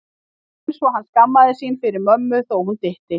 Rétt eins og hann skammaðist sín fyrir mömmu þó hún dytti.